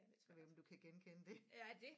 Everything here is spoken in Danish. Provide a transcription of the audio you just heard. Jeg ved ikke om du kan genkende det